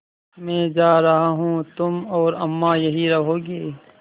मैं जा रहा हूँ तुम और अम्मा यहीं रहोगे